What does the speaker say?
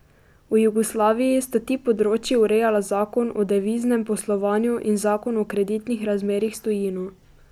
V Jugoslaviji sta ti področji urejala zakon o deviznem poslovanju in zakon o kreditnih razmerjih s tujino.